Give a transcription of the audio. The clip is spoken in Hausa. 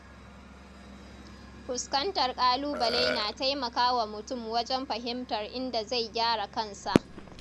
Fuskantar ƙalubale na taimakawa mutum wajen fahimtar inda zai gyara kansa.